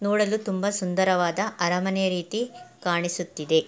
ನೋಡಲು ತುಂಬ ಸುಂದರವಾದ ಅರಮನೆ ರೀತಿ ಕಾಣಿಸುತ್ತಿದೆ.